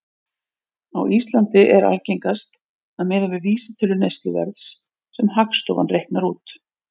Á Íslandi er algengast að miða við vísitölu neysluverðs sem Hagstofan reiknar út.